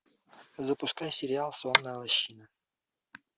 запускай сериал сонная лощина